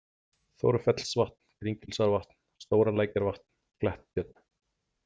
Þórfellsvatn, Kringilsárvatn, Stóralækjarvatn, Kletttjörn